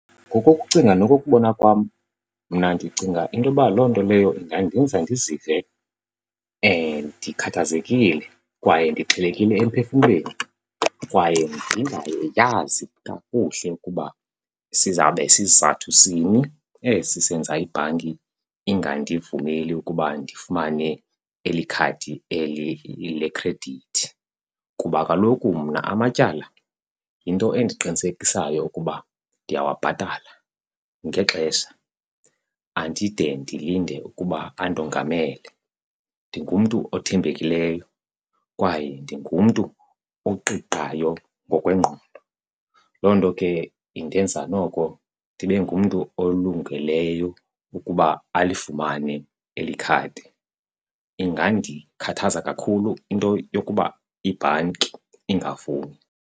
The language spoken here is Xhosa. Ngokokucinga nokokubona kwam mna ndicinga into yoba loo nto leyo ingandenza ndizive ndikhathazekile kwaye ndixhelekile emphefumlweni, kwaye ndingayazi kakuhle ukuba sizawube sizathu sini esi senza ibhanki ingandivumeli ukuba ndifumane eli khadi eli lekhredithi. Kuba kaloku mna amatyala yinto endiqinisekisayo ukuba ndiyawabhatala ngexesha andide ndilinde ukuba andongamele, ndingumntu othembekileyo kwaye ndingumntu oqiqayo ngokwengqondo. Loo nto ke indenza noko ndibe ngumntu olungeleyo ukuba alifumane eli khadi. Ingandikhathaza kakhulu into yokuba ibhanki ingavumi.